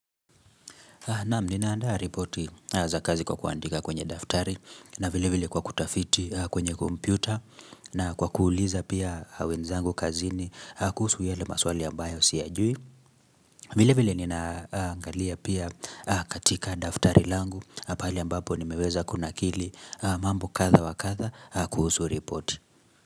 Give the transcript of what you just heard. Naam ninaanda ripoti za kazi kwa kuandika kwenye daftari na vile vile kwa kutafiti kwenye kompyuta na kwa kuuliza pia wenzangu kazini kuhusu yale maswali ambayo siyajui. Vile vile ninaangalia pia katika daftari langu pali ambapo nimeweza kuna kili mambo kadha wa kadha kuhusu ripoti.